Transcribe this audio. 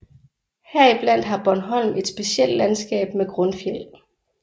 Heriblandt har Bornholm et specielt landskab med grundfjeld